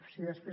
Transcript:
si després